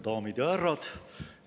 Daamid ja härrad!